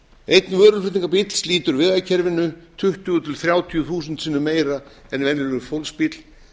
einn vöruflutningabíll slítur vegakerfinu tuttugu til þrjátíu þúsund sinnum meira en venjulegur fólksbíll